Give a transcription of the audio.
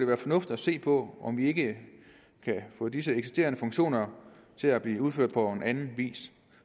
være fornuftigt at se på om vi ikke kan få disse eksisterende funktioner til at blive udført på anden vis